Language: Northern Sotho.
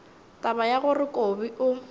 taba ya gore kobi o